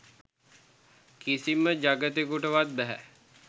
කිසිම ජගතෙකුටවත් බැහැ.